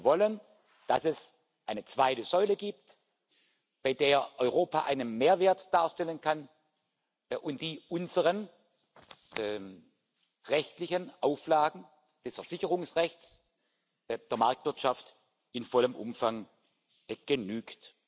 Wir wollen, dass es eine zweite Säule gibt, bei der Europa einen Mehrwert darstellen kann und die unseren rechtlichen Auflagen des Versicherungsrechts und der Marktwirtschaft in vollem Umfang genügt.